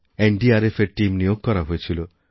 NDRF এর team নিয়োগ করা হয়েছিল